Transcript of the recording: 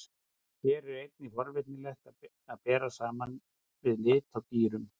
Hér er einnig forvitnilegt að bera saman við lit á dýrum.